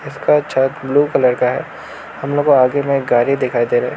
इसका छत blue colour का है हम लोग को आगे में एक गाड़ी दिखाई दे रहा है।